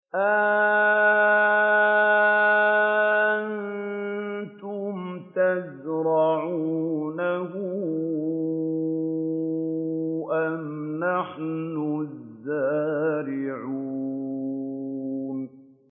أَأَنتُمْ تَزْرَعُونَهُ أَمْ نَحْنُ الزَّارِعُونَ